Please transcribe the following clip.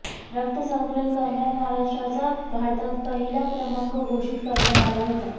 रक्त संकलन करण्यात महाराष्ट्राचा भारतात पहिला क्रमांक घोषित करण्यात आला होता